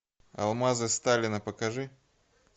алмазы сталина покажи